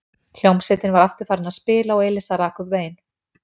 Hljómsveitin var aftur farin að spila og Elísa rak upp vein.